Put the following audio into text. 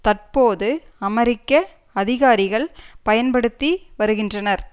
தற்போது அமெரிக்க அதிகாரிகள் பயன்படுத்தி வருகின்றனர்